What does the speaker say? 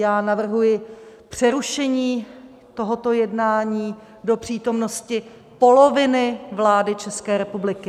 Já navrhuji přerušení tohoto jednání do přítomnosti poloviny vlády České republiky.